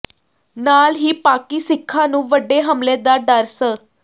ਨਾਲ ਹੀ ਪਾਕਿ ਸਿੱਖਾਂ ਨੂੰ ਵੱਡੇ ਹਮਲੇ ਦਾ ਡਰ ਸ